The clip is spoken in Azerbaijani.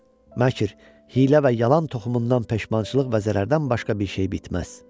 Məkr, hiylə və yalan toxumundan peşmançılıq və zərərdən başqa bir şey bitməz.